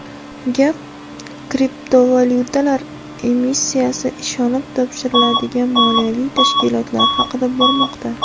Gap kriptovalyutalar emissiyasi ishonib topshiriladigan moliyaviy tashkilotlar haqida bormoqda.